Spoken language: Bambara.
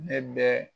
Ne bɛ